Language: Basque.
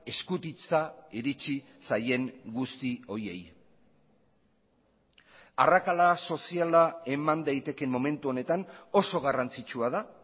eskutitza iritsi zaien guzti horiei arrakala soziala eman daitekeen momentu honetan oso garrantzitsua da